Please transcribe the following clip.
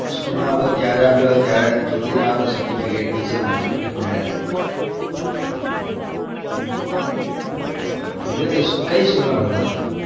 school માં તો ત્યારે આપ્યો ત્યારે ના certiflcate બી છે મારી જોડે medal હમ કઈ school માં ભણતા તા તમે?